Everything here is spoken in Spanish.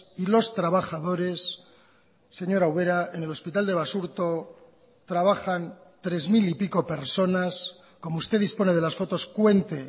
y los trabajadores señora ubera en el hospital de basurto trabajan tres mil y pico personas como usted dispone de las fotos cuente